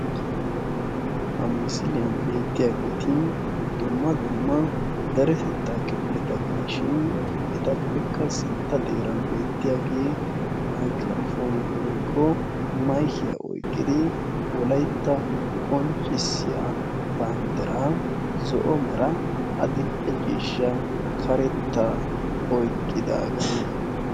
Ha misiliyaan beettiyaageti dumma dumma deretettaa kifiliyaa gidishin etappekka sintta xeeran beettiyaagee maygiraapooniyaa woykko mayikiyaa oyqqidi wolaytta qonccisiyaa banddiraa zo'o meraa adile ciishshaa karettaa oyqqidaagaa.